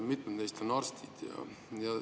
Mitmed neist on arstid.